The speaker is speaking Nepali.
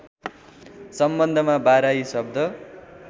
सम्बन्धमा बाराही शब्द